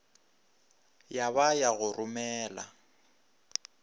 ya ba ya go romela